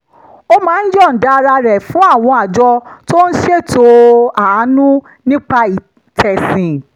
ó máa ń yọ̀ǹda ara rẹ̀ fún àwọn àjọ tó ń ṣètọrẹ-àánú nípa tẹ̀sìn